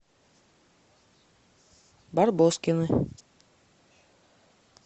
барбоскины